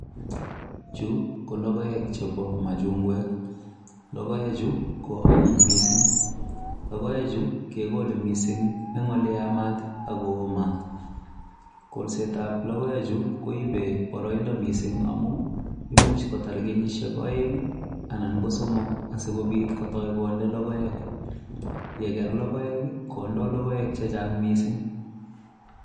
Chu ko logoek chebo machungwek. Logoechu ko onyiny mising. Logoeche kekole mising eng ole yamat akoo mat. Kolset ab logoechu koibe boroindo mising amu imuch kotar kenyishiek oeng anan ko somok sikobit kotoi konde logoek. Yeker logoek koidoi logoek chechang mising.